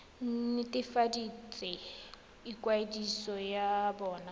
nt hwafatse ikwadiso ya bona